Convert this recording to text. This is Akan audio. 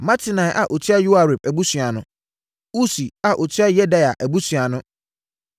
Matenai a ɔtua Yoiarib abusua ano. Usi a ɔtua Yedaia abusua ano.